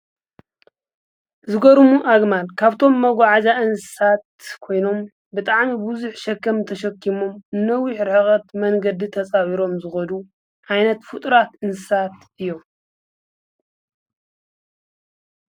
ዝጐሩሙ ኣግማል ካብቶም መጕዓዛ እንሳት ኮይኖም ብጥዓሚ ብዙኅ ሸከም ተሸኪሞም እነዊኅ ርኅቐት መንገዲ ተፃብሮም ዝበዱ ዓይነት ፍጥራት እንሳት እዮም።